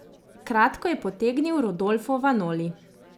Kratko je potegnil Rodolfo Vanoli.